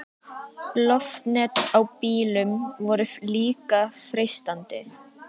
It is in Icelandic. Loftnet á bílum voru líka freistandi.